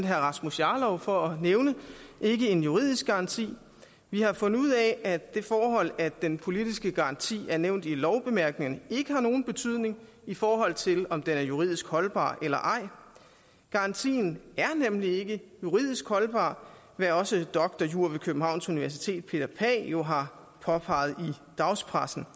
herre rasmus jarlov for at nævne ikke en juridisk garanti vi har fundet ud af at det forhold at den politiske garanti er nævnt i lovbemærkningerne ikke har nogen betydning i forhold til om den er juridisk holdbar eller ej garantien er nemlig ikke juridisk holdbar hvad også drjur ved københavns universitet peter pagh jo har påpeget i dagspressen